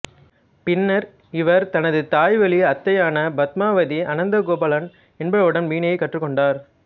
பின்னர் இவர் தனது தாய்வழி அத்தையான பத்மாவதி அனந்தகோபாலன் என்பவரிடம் வீணையைக் கற்றுக் கொண்டார்